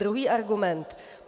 Druhý argument.